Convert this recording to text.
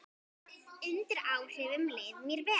Undir áhrifum leið mér vel.